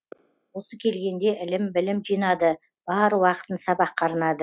осы келгенде ілім білім жинады бар уақытын сабаққа арнады